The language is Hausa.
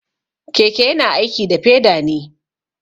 Keke yana aiki da peda ne.